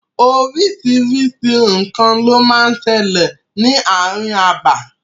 Oríṣiríṣi nǹkan ló máa ń sẹlẹ̀ ní ààrin abà.